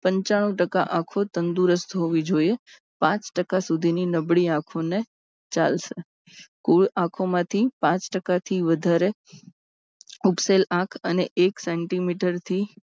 પંચાનું ટકા આંખો તંદુરસ્ત હોવી જોઈએ. પાંચ ટકા સુધીની નબળી આંખોને ચાલશે. કુલ આંખોમાંથી પાંચ ટકાથી વધારે ઉપસેલ આંખ અને એક centimeter થી